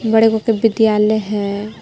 बड़े गो के विद्यालय हय।